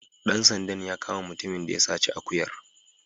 Dan sandan ya kama mutumin da ya saci akuyar.